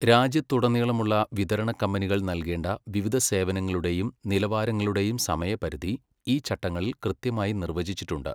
രാജ്യത്തുടനീളമുള്ള വിതരണകമ്പനികൾ നൽകേണ്ട വിവിധ സേവനങ്ങളുടെയും നിലവാരങ്ങളുടെയും സമയപരിധി ഈ ചട്ടങ്ങളിൽ കൃത്യമായി നിർവചിച്ചിട്ടുണ്ട്.